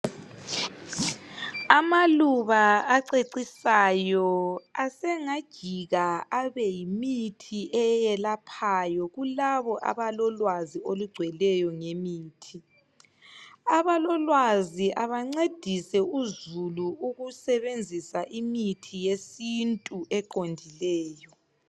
Amaluba acecisayo asengajika abe yimithi eyelaphayo kulabo abalolwazi olugcweleyo ngemithi. Abalolwazi abancedise uzulu ukusebenzisa imithi yesiNtu eqondileyo.